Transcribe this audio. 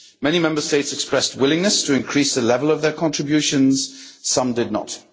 Many Member States expressed a willingness to increase the level of their contributions. Some did not.